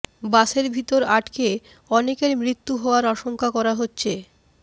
বাসের ভিতর আটকে অনেকের মৃত্যু হওয়ার আশঙ্কা করা হচ্ছে